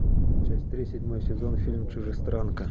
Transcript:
часть три седьмой сезон фильм чужестранка